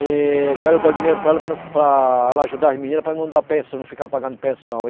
E quero dar o dinheiro para ela, para não fi, para ela ajudar as meninas para eu não dar pen, não ficar pagando pensão.